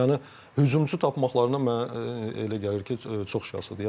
Yəni hücumçu tapmaqlarına mənə elə gəlir ki, çox şaşırdır.